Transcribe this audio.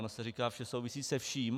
Ono se říká, že souvisí se vším.